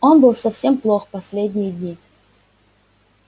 он был совсем плох последние дни